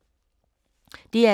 DR2